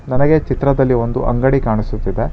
ನನಗೆ ಚಿತ್ರದಲ್ಲಿ ಒಂದು ಅಂಗಡಿ ಕಾಣಿಸುತ್ತಿದೆ.